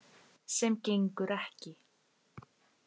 Sem gengur ekki.